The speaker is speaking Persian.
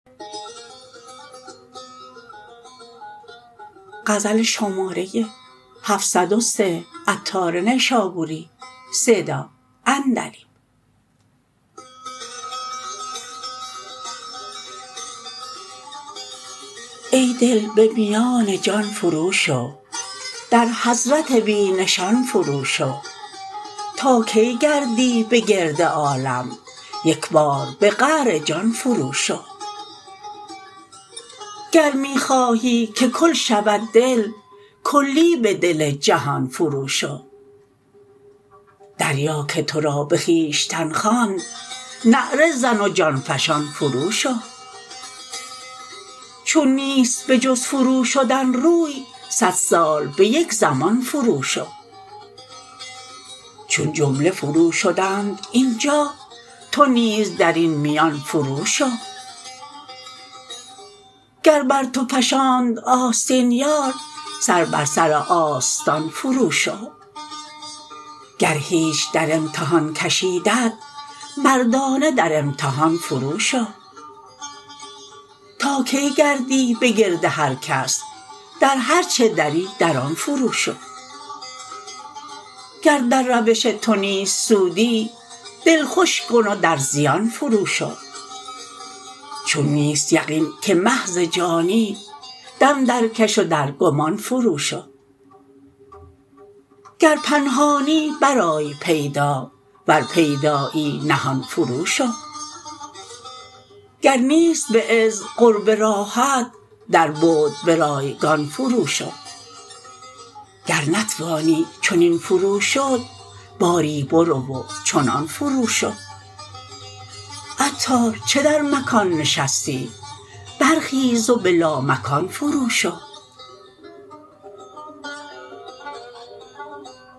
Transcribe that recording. ای دل به میان جان فرو شو در حضرت بی نشان فرو شو تا کی گردی به گرد عالم یک بار به قعر جان فرو شو گر می خواهی که کل شود دل کلی به دل جهان فرو شو دریا که تو را به خویشتن خواند نعره زن و جان فشان فرو شو چون نیست به جز فرو شدن روی صد سال به یک زمان فرو شو چون جمله فرو شدند اینجا تو نیز درین میان فرو شو گر بر تو فشاند آستین یار سر بر سر آستان فرو شو گر هیچ در امتحان کشیدت مردانه در امتحان فرو شو تا کی گردی به گرد هرکس در هرچه دری در آن فرو شو گر در روش تو نیست سودی دل خوش کن و در زیان فرو شو چون نیست یقین که محض جانی دم درکش و در گمان فرو شو گر پنهانی برآی پیدا ور پیدایی نهان فرو شو گر نیست به عز قرب راهت در بعد به رایگان فرو شو گر نتوانی چنین فرو شد باری برو و چنان فرو شو عطار چه در مکان نشستی برخیز و به لامکان فرو شو